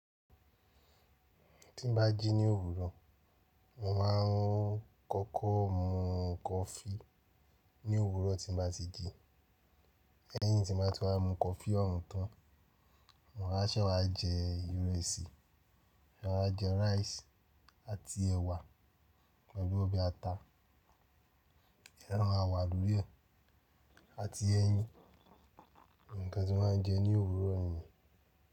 Tí n bá jí ní òwúrọ̀, mo máa ń kọ́kọ́ mu coffee ní òwúrọ̀ tí n bá ti jí. Léyín tí n mo ba ti wá mu coffee ọ̀hún tán, mo máa ṣẹ̀ wá jẹ ìrẹsì, máa jẹ rice àti ẹ̀wà pẹ̀lú ọbẹ̀ ata. Ẹran ma wà lórí e àti ẹyin, ǹkan tí mo máa ń jẹ ní òwúrọ̀ ni.